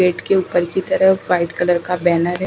Gate के ऊपर की तरफ व्हाइट कलर का बैनर हैं।